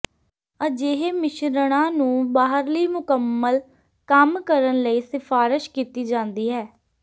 ਅਜਿਹੇ ਮਿਸ਼ਰਣਾਂ ਨੂੰ ਬਾਹਰਲੀ ਮੁਕੰਮਲ ਕੰਮ ਕਰਨ ਲਈ ਸਿਫਾਰਸ਼ ਕੀਤੀ ਜਾਂਦੀ ਹੈ